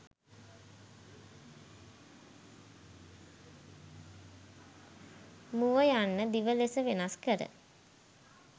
මුව යන්න දිව ලෙස වෙනස් කර